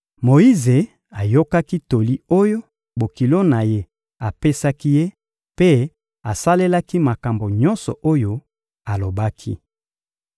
Moyize ayokaki toli oyo bokilo na ye apesaki ye mpe asalelaki makambo nyonso oyo alobaki.